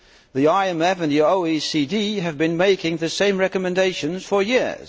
The IMF and the OECD have been making the same recommendations for years.